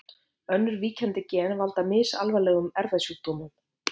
Önnur víkjandi gen valda misalvarlegum erfðasjúkdómum.